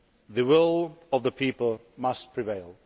the will of the people must prevail.